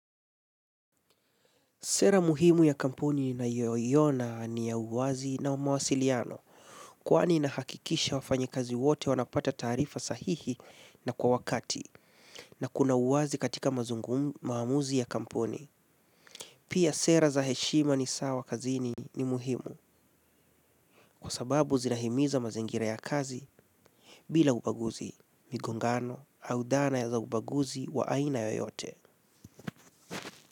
Sera muhimu ya kampuni ninayoiona ni ya uwazi na umawasiliano kwaani inahakikisha wafanya kazi wote wanapata taarifa sahihi na kwa wakati na kuna uwazi katika maamuzi ya kampuni. Pia sera za heshima ni sawa kazi ni muhimu kwa sababu zinahimiza mazingira ya kazi bila ubaguzi. Migongano, au dhana za ubaguzi wa aina yoyote.